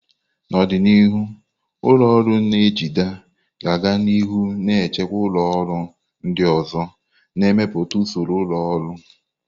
N'ọdịnihu, ụlọ ọrụ na-ejide ga a-ga nihu na-achịkwa ụlọ ọrụ ndị ọzọ, na-emepụta usoro ụlọ ọrụ.